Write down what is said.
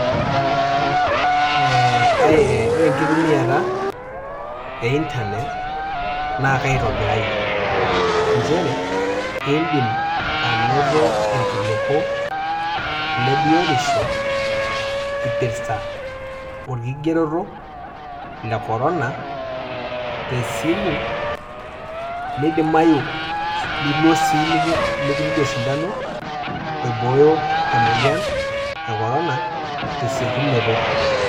Ore enkitumiata e internet naitobiraayoe, nchere indim ainoto iilkiliku le biotisho eipirta olkigeroto le korona te esimu meidimayu nilo sii mikituudi osindano emoyian e korona te esiokinoto.